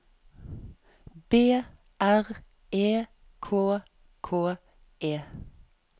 B R E K K E